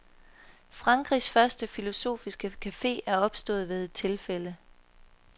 Frankrigs første filosofiske cafe er opstået ved et tilfælde.